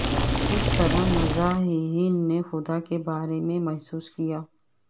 کس طرح مزاحیہین نے خدا کے بارے میں محسوس کیا